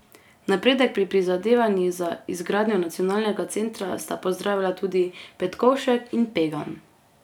Napredek pri prizadevanjih za izgradnjo nacionalnega centra sta pozdravila tudi Petkovšek in Pegan.